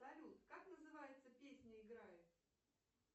салют как называется песня играет